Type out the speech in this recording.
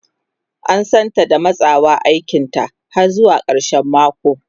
An santa da matsawa aikinta har zuwa karshen mako.